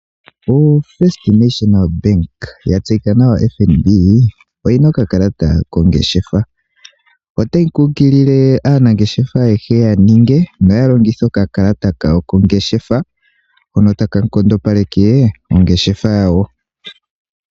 Ombaanga yotango yaNamibia oyina okakalata kongeshefa. Otayi nkunkulile aanangeshefa ayehe yaninge noya longithe okakalata kawo kongeshefa hoka taka kontopaleke ongeshefa yawo.